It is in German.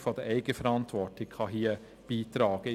Auch eine Stärkung der Eigenverantwortung kann hier beitragen.